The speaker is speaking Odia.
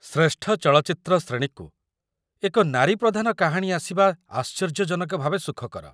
ଶ୍ରେଷ୍ଠ ଚଳଚ୍ଚିତ୍ର ଶ୍ରେଣୀକୁ ଏକ ନାରୀ ପ୍ରଧାନ କାହାଣୀ ଆସିବା ଆଶ୍ଚର୍ଯ୍ୟଜନକ ଭାବେ ସୁଖକର ।